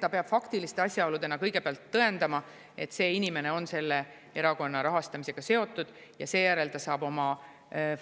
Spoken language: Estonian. Ta peab faktiliste asjaoludega kõigepealt tõendama, et inimene on selle erakonna rahastamisega seotud, ja seejärel ta saab